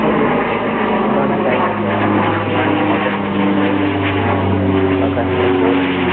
और एक पुराना टाइप का है पुरानी मॉडर्न डिजाइन बनाएड़ी है झका के अंदर बहुत ही --